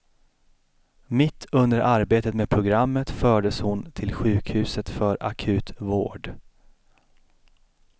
Mitt under arbetet med programmet fördes hon till sjukhuset för akut vård.